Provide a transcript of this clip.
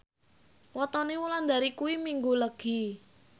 wetone Wulandari kuwi Minggu Legi